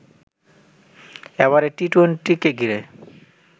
এবারে টি-টোয়েন্টি কে ঘিরে